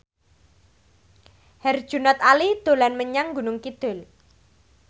Herjunot Ali dolan menyang Gunung Kidul